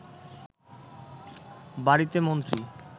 বাড়িতে মন্ত্রী